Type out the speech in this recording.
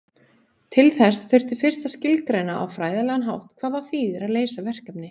Til þess þurfti fyrst að skilgreina á fræðilegan hátt hvað það þýðir að leysa verkefni.